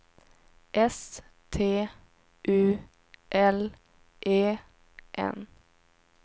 S T U L E N